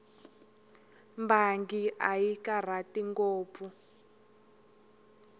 mbangi a yi karhati ngopfu